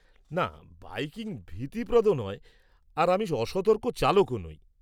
না, বাইকিং ভীতিপ্রদ নয় আর আমি অসতর্ক চালকও নই।